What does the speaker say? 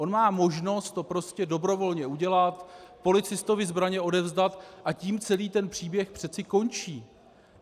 On má možnost to prostě dobrovolně udělat, policistovi zbraně odevzdat, a tím celý ten příběh přeci končí.